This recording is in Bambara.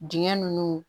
Dingɛ nunnu